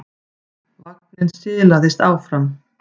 Vagninn silaðist áfram.